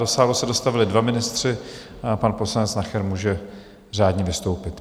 Do sálu se dostavili dva ministři a pan poslanec Nacher může řádně vystoupit.